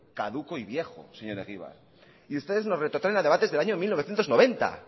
caduco y viejo señor egibar y ustedes nos retrotraen a debates del año mil novecientos noventa